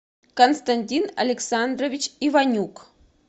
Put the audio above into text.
константин александрович иванюк